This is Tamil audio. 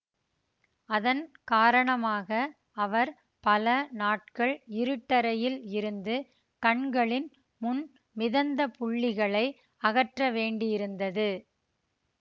அதன் காரணமாக அவர் பல நாட்கள் இருட்டறையில் இருந்து கண்களின் முன் மிதந்த புள்ளிகளை அகற்ற வேண்டியிருந்தது